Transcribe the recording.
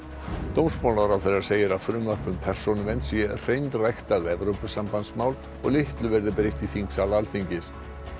dómsmálaráðherra segir að frumvarp um persónuvernd sé hreinræktað Evrópusambandsmál og litlu verði breytt í þingsal Alþingis